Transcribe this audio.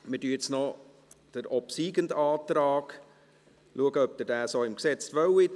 Wir schauen nun noch, ob sie den obsiegenden Antrag so im Gesetz haben wollen.